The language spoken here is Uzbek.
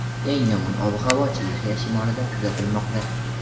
Eng yomon ob-havo Chexiya shimolida kuzatilmoqda.